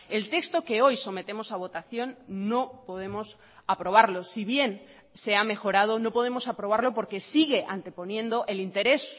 el texto que hoy sometemos a votación no podemos aprobarlo si bien se ha mejorado no podemos aprobarlo porque sigue anteponiendo el interés